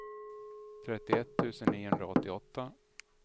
trettioett tusen niohundraåttioåtta